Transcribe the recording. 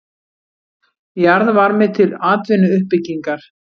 Jarðvarmi til atvinnuuppbyggingar